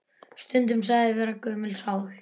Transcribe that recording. Stundum sagður vera gömul sál.